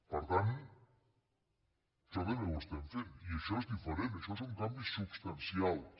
per tant això també ho estem fent i això és diferent això són canvis substancials